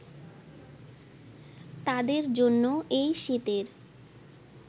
তাদের জন্য এই শীতের